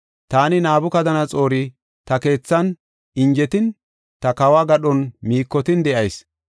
Taani, Nabukadanaxoori ta keethan injetin, ta kawo gadhon miikotin de7ayis.